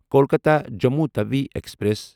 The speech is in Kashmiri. کولکاتا جموں تَوِی ایکسپریس